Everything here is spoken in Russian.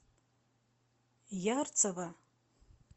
ярцево